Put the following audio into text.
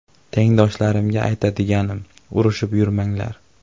Tengdoshlarimga aytadiganim urushib yurmanglar.